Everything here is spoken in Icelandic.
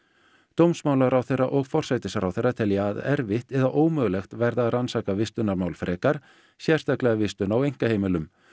dómsmálaráðherra og forsætisráðherra telja að erfitt eða ómögulegt verði að rannsaka vistunarmál frekar sérstaklega vistun á einkaheimilum